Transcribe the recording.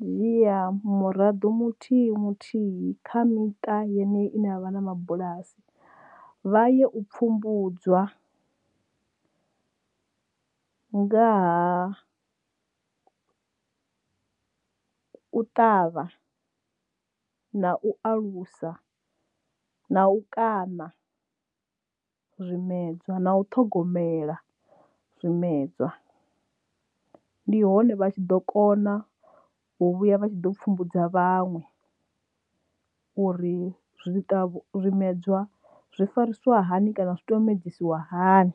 dzhia murado muthihi muthihi kha miṱa yeneyi i ne ya vha na mabulasi vha ye u pfhumbudzwa nga ha u ṱavha na u alusa na u kwama zwimedzwa na u ṱhogomela zwimedzwa ndi hone vha tshi ḓo kona u vhuya vha tshi ḓo pfumbudza vhaṅwe uri zwimedzwa zwi farisiwa hani kana zwi tea u medsiwa hani.